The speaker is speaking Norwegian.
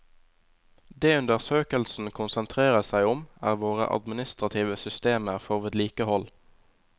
Det undersøkelsen konsentrerer seg om, er våre administrative systemer for vedlikehold.